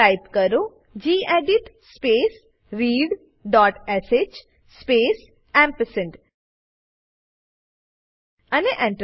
type કરો gedit space readશ space ampersand Enter